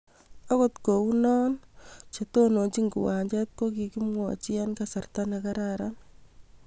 agot ko u no chetononchin kiwanjet ko kikimwachi eng kasarta ne kararan